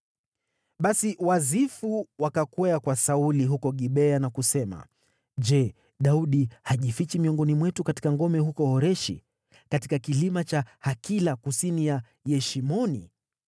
Basi Wazifu wakakwea kwa Sauli huko Gibea na kusema, “Je, Daudi hajifichi miongoni mwetu katika ngome huko Horeshi, katika kilima cha Hakila, kusini mwa Yeshimoni?